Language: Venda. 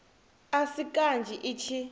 a si kanzhi i tshi